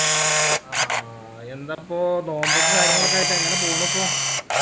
ആ യെന്താപ്പോ നോമ്പും കാര്യങ്ങളു ആയിട്ട് യെങ്ങനെ പോണിപ്പോ